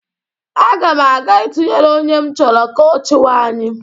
Aga m aga ịtunyere onye m chọrọ ka ọ chịwa anyị.